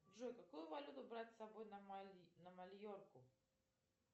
джой какую валюту брать с собой на майорку